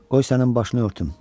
Qoy sənin başını örtüm.